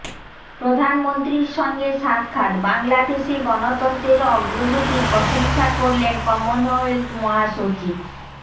প্রধানমন্ত্রীর সঙ্গে সাক্ষাৎ বাংলাদেশে গণতন্ত্রের অগ্রগতির প্রশংসা করলেন কমনওয়েলথ মহাসচিব